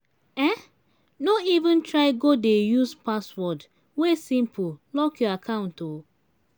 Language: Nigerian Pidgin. um no even try go dey use password wey simple lock your account o.